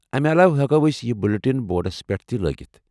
امہِ علاوٕ ہیٚکو ٲسۍ یہِ بُلٹِن بورڈس پٮ۪ٹھ تہِ لٲگِتھ ۔